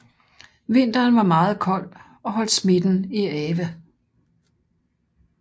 Vinteren var meget kold og holdt smitten i ave